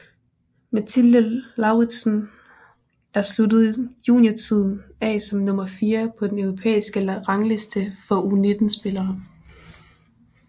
Mathilde Lauridsen er sluttet juniortiden af som nummer fire på den europæiske rangliste for U19 spillere